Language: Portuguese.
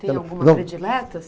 Tem alguma predileta?